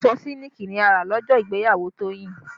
Aṣọ sílíkì ni a rà lọ́jọ́ ìgbéyàwó Toyin